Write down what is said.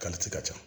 ka ca